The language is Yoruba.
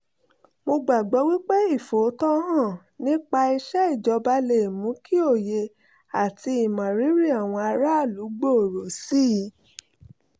mo gbàgbọ́ wí pé ìfòòtọ́ hàn nípa iṣẹ́ ìjọba lè mú kí òye àti ìmọrírì àwọn aráàlú gbòòrò sí i